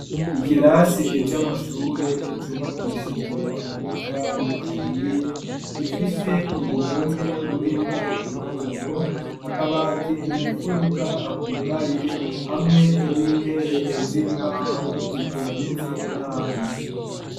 Ikirasi c'amashure cubakishijwe amatafari ahiye gifise uruhome rurimwo intoboro akabati mu mfuruka kugaye hamwe n'intebe z'imbaho zitondetse nabi.